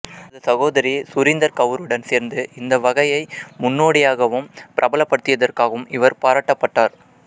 தனது சகோதரி சுரிந்தர் கவுருடன் சேர்ந்து இந்த வகையை முன்னோடியாகவும் பிரபலப்படுத்தியதற்காகவும் இவர் பாராட்டப்பட்டார்